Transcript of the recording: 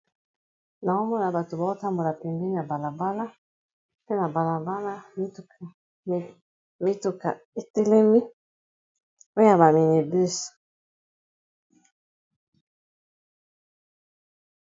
Nao mona bato bao tambola pembeni ya bala bala, mpe na bala bala mituka etelemi oya ba mini bus.